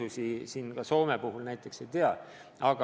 Aga ega ma kõiki Soomes tehtud erisusi ei tea ka.